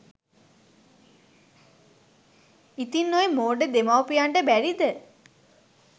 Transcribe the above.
ඉතින් ඔය මෝඩ දෙමව්පියන්ට බැරිද